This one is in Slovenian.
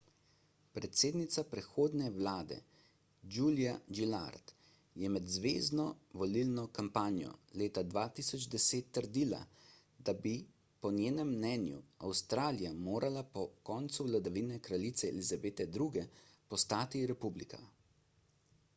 predsednica prehodne vlade julia gillard je med zvezno volilno kampanjo leta 2010 trdila da bi po njenem mnenju avstralija morala po koncu vladavine kraljice elizabete ii postati republika